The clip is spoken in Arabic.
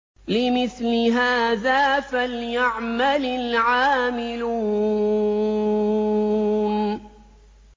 لِمِثْلِ هَٰذَا فَلْيَعْمَلِ الْعَامِلُونَ